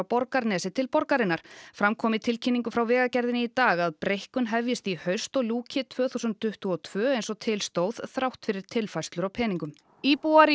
Borgarnesi til borgarinnar fram kom í tilkynningu frá Vegagerðinni í dag að breikkun vegarins hefjist í haust og ljúki tvö þúsund tuttugu og tvö eins og til stóð þrátt fyrir tilfærslur á peningum íbúar